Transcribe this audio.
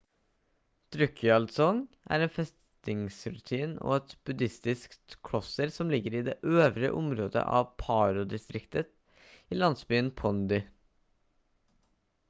drukgyal dzong er en festningsruin og et buddhistisk kloster som ligger i det øvre området av paro-distriktet i landsbyen pondey